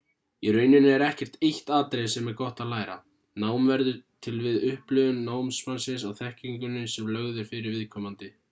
í rauninni er ekkert eitt atriði sem er gott að læra nám verður til við upplifun námsmannsins á þekkingunni sem lögð er fyrir viðkomandi